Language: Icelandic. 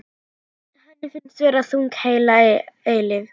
Henni finnst vera þögn heila eilífð.